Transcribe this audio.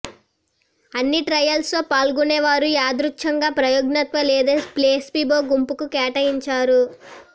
అన్ని ట్రయల్స్లో పాల్గొనేవారు యాదృచ్ఛికంగా ప్రయోగాత్మక లేదా ప్లేసిబో గుంపుకు కేటాయించారు